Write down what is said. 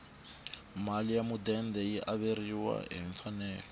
mali ya mudende yi averiwa hi mfanelo